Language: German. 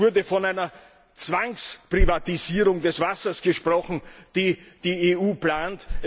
Es wurde von einer Zwangsprivatisierung des Wassers gesprochen, die die EU plant.